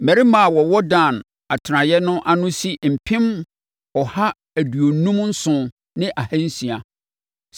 Mmarima a wɔwɔ Dan atenaeɛ no ano si mpem ɔha aduonum nson ne ahansia (157,600).